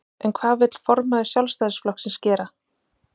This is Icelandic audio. En hvað vill formaður Sjálfstæðisflokksins gera?